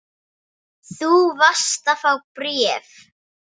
Þú varst að fá bréf.